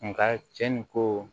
Nka cɛn ni ko